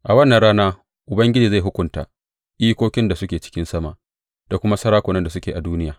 A wannan rana Ubangiji zai hukunta ikokin da suke cikin sama da kuma sarakunan da suke a duniya.